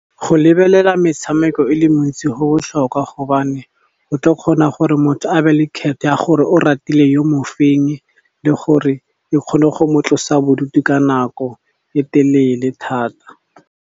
Go lebelela metshameko e le mentsi go botlhokwa gobane, o tla kgona gore motho a be le ya gore o ratile yo mo feng le gore e kgone go mo tlosa bodutu ka nako e telele thata.